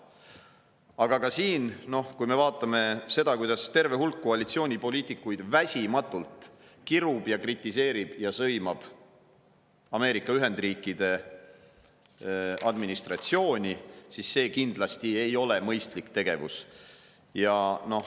Aga ka siin on nii, et kui me vaatame seda, kuidas terve hulk koalitsioonipoliitikuid väsimatult kirub, kritiseerib ja sõimab Ameerika Ühendriikide administratsiooni, siis see kindlasti ei ole mõistlik tegevus.